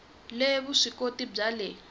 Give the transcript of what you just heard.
le vusw ikoti bya le